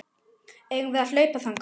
Eigum við að hlaupa þangað?